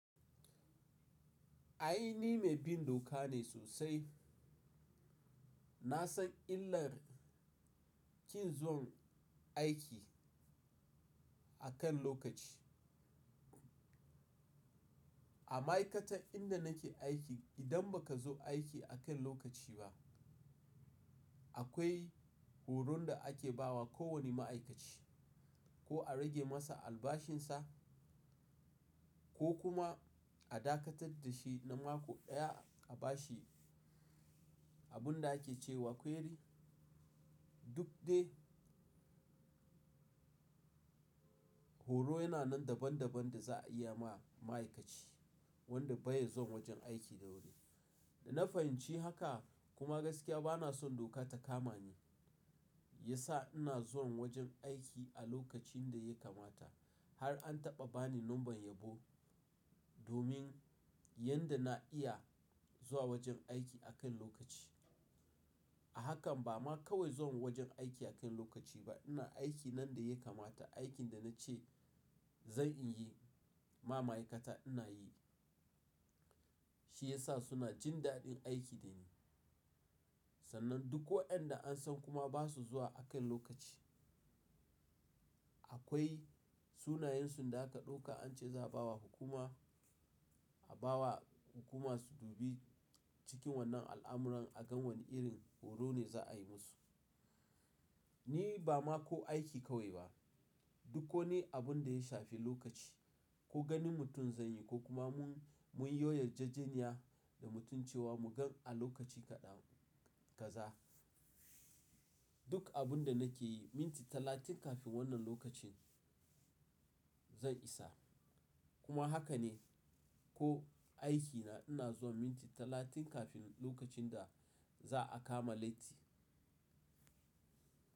Ai ni mai bin doka ne sosai. Na san illar kin zuwan aiki akan lokaci. A ma'aikatar inda nake aiki idan ba kazo aiki a kan lokaci ba akwai horon da ake bawa kowane ma'aikaci ko a rage masa albashin sa ko kuma a dakatar da shi na mako ɗaya a bashi abun da ake cewa kwairi. Duk dai horo yana nan daban daban da za a iyama ma'aikaci wanda bai zuwa wajen aiki da wuri. Da na fahimci haka kuma gaskiya bana son doka ta kama ni, ya sa ina zuwan wajen aiki a lokacin da ya kamata har an taɓa bani lambar yabo domin yadda na iya zuwa wajen aiki a kan lokaci. A hakan ba ma kawai zuwan wajen aiki akan lokaci ba ina aiki nan daya kamata, aikin da na ce zanyi ma ma'aikata ina yi. Shi ya sa suna jin daɗin aiki da ni. Sannan duk waɗanda an san kuma ba su zuwa akan lokaci akwai sunayensu da aka ɗauka an ce za'a bawa hukuma a bawa hukuma su dubi cikin wannan al'amuran a ga wane irin horo ne za'ayi musu. Ni ba ma ko aiki kawai ba duk koni abin daya shafi lokaci ko ganin mutum zanyi ko kuma mun munyo yar'jejeniya da mutum cewa mu gan a lokaci kaɗan kaza. Duk abun da nake yi minti talatin kafin wannan lokacin zan isa. Kuma haka ne ko aikina ina zuwan minti talatin kafin lokacin da za'a kama latti.